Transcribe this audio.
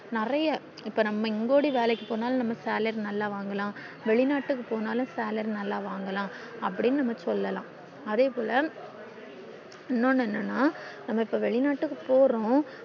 நெறைய இப்ப நம்ம இங்க ஓடி வேலைக்கு போனாலும் நம்ம salary நல்லா வாங்கலாம் வெளிநாட்டுக்கு போனாலும் salary நல்லா வாங்கலாம் அப்டின்னு நம்ம சொல்லல்லாம் அதே போல இன்னொன்னு என்னன்னா நம்ம இப்போ வெளிநாட்டுக்கு போறோம்